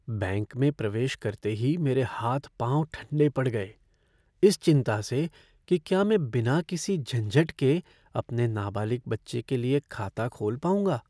Bank में प्रवेश करते ही मेरे हाथ पाँव ठंडे पड़ गए इस चिंता से कि क्या मैं बिना किसी झंझट के अपने नाबालिग बच्चे के लिए खाता खोल पाऊंगा।